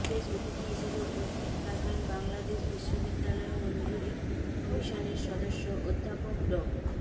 বিশেষ অতিথি হিসেবে উপস্থিত থাকবেন বাংলাদেশ বিশ্ববিদ্যালয় মঞ্জুরী কমিশনের সদস্য অধ্যাপক ড